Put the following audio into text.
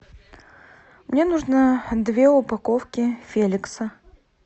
мне нужно две упаковки феликса